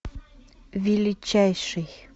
величайший